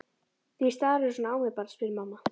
Því starirðu svona á mig barn? spurði mamma.